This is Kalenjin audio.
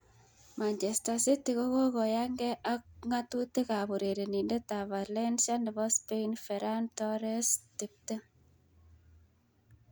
(Evening Standard) Manchester City kokoyanke ak ngatutik ab urerenindet ab Valencia nebo Spain Ferran Torres,20.